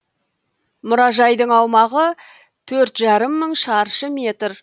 мұражайдың аумағы төрт жарым мың шаршы метр